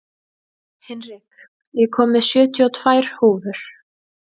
Hinrik, ég kom með sjötíu og tvær húfur!